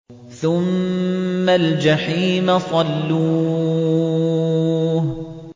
ثُمَّ الْجَحِيمَ صَلُّوهُ